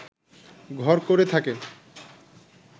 ঘর করে থাকে